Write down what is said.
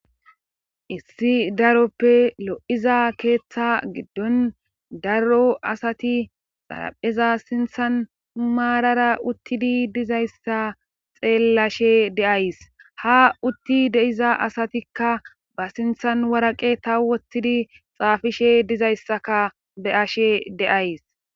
issi daroppe lo7iza keeththa giddon daro asati xarapheza sinthan maarara uttidi dizayssa xeellashe deays ha utti deiza asatikka ba sinthan waraqe ta wothidi xaafishe dizayssaka be ashe deays